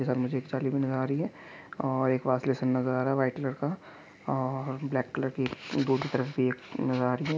के साथ मुझे एक जाली भी नज़र आ रही हैं और एक वाशबेसन नज़र आ रहा हैं वाइट कलर का और ब्लैक कलर की एक नज़र आ रही हैं।